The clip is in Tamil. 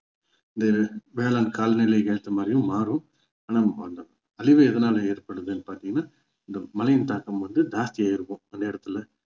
இந்த வேளாண் காலநிலக்கு ஏத்த மாதிரியும் மாறும் ஆனா அந்த அழிவு எதனால ஏற்படுதுன்னு பார்த்தீங்கன்னா இந்த மழையின் தாக்கம் வந்து ஜாஸ்தி ஆகியிருக்கும் அந்த இடத்துல